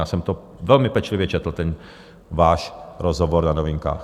Já jsem to velmi pečlivě četl ten váš rozhovor na Novinkách.